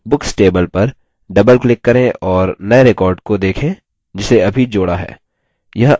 books table पर double click करें और नये record को देखें जिसे अभी जोड़ा है